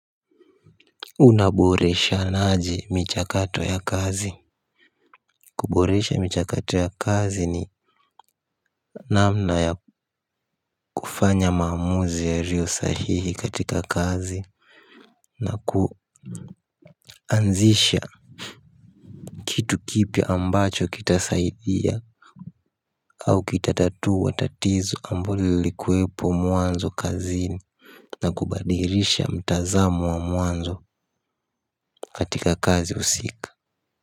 Unaboreshanaji michakato ya kazi. Kuboresha michakato ya kazi ni namna ya kufanya maamuzi yariosahihi katika kazi. Na kuanzisha kitu kipya ambacho kitasaidia au kitatatua tatizo ambulo lilikueepo mwanzo kazini. Na kubadirisha mtazamo wa mwanzo katika kazi husika.